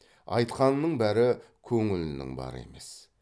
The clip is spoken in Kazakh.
айтқанының бәрі көңілінің бары емес